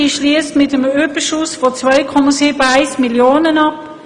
Sie schliesst mit einem Überschuss von 2,71 Mio. Franken ab.